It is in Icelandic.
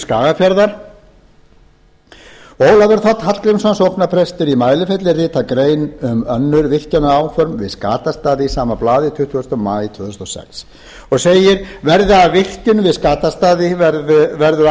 skagafjarðar ólafur þ hallgrímsson sóknarprestur á mælifelli ritar grein um önnur virkjunaráform við skatastaði í sama blaði tuttugasta maí tvö þúsund og sex og segir verði af virkjun við skatastaði verður